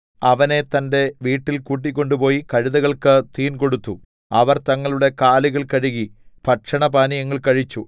അവനെ തന്റെ വീട്ടിൽ കൂട്ടിക്കൊണ്ടുപോയി കഴുതകൾക്ക് തീൻ കൊടുത്തു അവർ തങ്ങളുടെ കാലുകൾ കഴുകി ഭക്ഷണപാനീയങ്ങൾ കഴിച്ചു